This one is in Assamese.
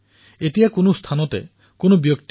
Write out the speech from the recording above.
কিন্তু এই কেইদিন এক নতুন অভিজ্ঞতা হৈছে